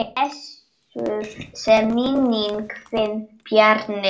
Blessuð sé minning þín Bjarni.